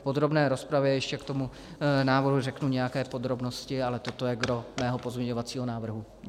V podrobné rozpravě ještě k tomu návrhu řeknu nějaké podrobnosti, ale toto je gros mého pozměňovacího návrhu.